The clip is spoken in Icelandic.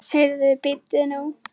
Heyrðu, bíddu nú.